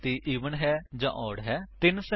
ਸੰਕੇਤ I F else statement ਦਾ ਪ੍ਰਯੋਗ ਕਰੋ